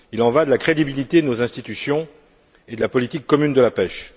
Il y va de la crédibilité de nos institutions et de la politique commune de la pêche.